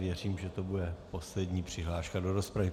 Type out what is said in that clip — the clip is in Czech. Věřím, že to bude poslední přihláška do rozpravy.